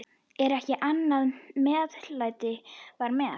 Ekkert annað meðlæti var með.